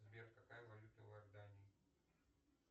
сбер какая валюта в иордании